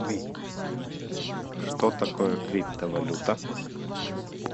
что такое криптовалюта